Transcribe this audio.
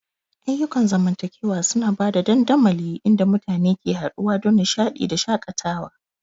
Ayyukan zamantakewa suna ba da dandamali inda mutane ke haɗuwa don nishaɗi da shakatawa.